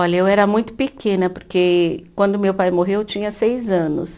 Olha, eu era muito pequena, porque quando meu pai morreu eu tinha seis anos.